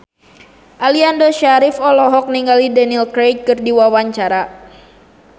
Aliando Syarif olohok ningali Daniel Craig keur diwawancara